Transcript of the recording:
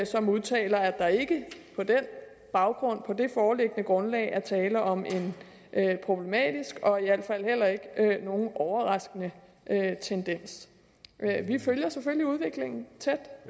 som udtaler at der ikke på den baggrund på det foreliggende grundlag er tale om en problematisk og i al fald heller ikke overraskende tendens vi følger selvfølgelig udviklingen tæt